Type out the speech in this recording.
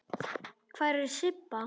Hvar er Sibba?